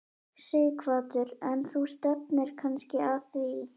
Sighvatur: En þú stefnir kannski að því?